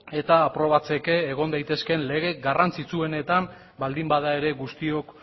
eta aprobatzeke egon daitezkeen lege garrantzitsuenetan baldin bada ere guztiok